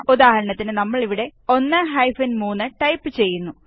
ഉദാഹരണത്തിന് നമ്മള് ഇവിടെ 1 3 ടൈപ് ചെയ്യുന്നു